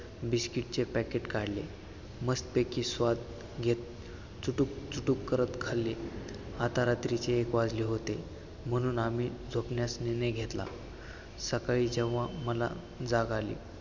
biscuit चे packet काढले. मस्त पैकी स्वाद घेत चुटुक चुटुक करत खाल्ले, आता रात्रीचे एक वाजले होते, म्हणून आम्ही झोपण्यास निर्णय घेतला. सकाळी जेव्हा मला जाग आली.